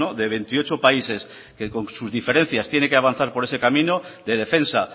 de veintiocho países que con sus diferencias tiene que avanzar por ese camino de defensa